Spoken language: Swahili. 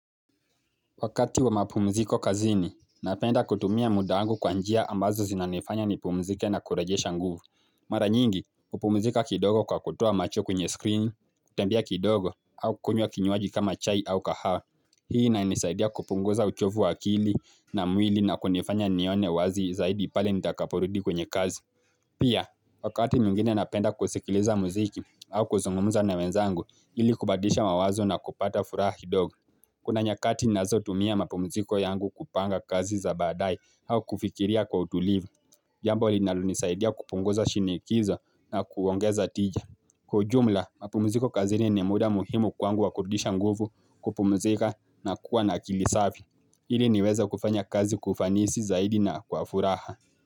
Wakati wa mapumziko kazini, napenda kutumia muda wangu kwa njia ambazo zinanifanya ni pumzike na kurejesha nguvu. Mara nyingi, upumzika kidogo kwa kutoa macho kwenye screen, kutembea kidogo, au kukunywa kinyuaji kama chai au kaha. Hii inanisaidia kupunguza uchovu wa akili na mwili na kunifanya nione wazi zaidi pale nitakaporudi kwenye kazi. Pia, wakati mwingine napenda kusikiliza muziki au kuzungumuza na wenzangu ili kubadilisha mawazo na kupata furaha kidogo. Kuna nyakati nazo tumia mapumuziko yangu kupanga kazi za baadaye au kufikiria kwa utulivu. Jambo linalo nisaidia kupunguza shinikizo na kuongeza tija. Kwa ujumla, mapumuziko kazini ni muda muhimu kwangu wa kurudisha nguvu kupumuzika na kuwa na kilisavi. Ili niweze kufanya kazi kwa ufanisi zaidi na kwa furaha.